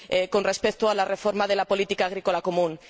con respecto a la reforma de la política agrícola común.